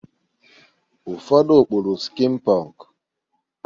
Ụfọdụ kpụrụ skin pọnk.